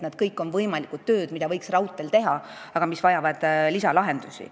Need kõik on võimalikud tööd, mida võiks raudteel teha, aga mis vajavad lisalahendusi.